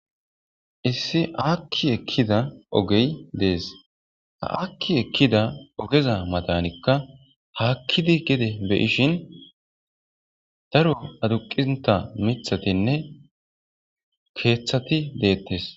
Issi aki ekida ogeyi dessi. Ha aki ekiza oggeza mattani hakiddi gedde beyishini darro aqida mithatine kethati betesi